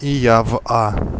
и я в а